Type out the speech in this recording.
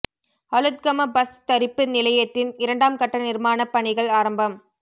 Aluthgama bus தரிப்பு நிலையத்தின் இரண்டாம் கட்ட நிர்மாணப் பணிகள் ஆரம்பம்